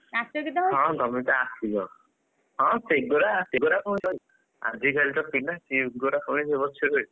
ହଁ ତମେତ ଆସିବ ହଁ ସେଗୁଡ଼ା ସେଗୁଡାକ ଆଜି କାଲିକା ପିଲା ସେଗୁଡା ପୁଣି